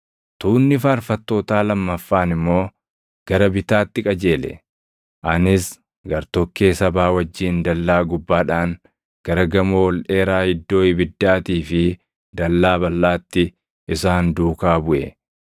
Tuunni faarfattootaa lammaffaan immoo gara bitaatti qajeele. Anis gartokkee sabaa wajjin dallaa gubbaadhaan gara Gamoo ol dheeraa Iddoo Ibiddaatii fi Dallaa Balʼaatti isaan duukaa buʼe;